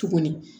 Tuguni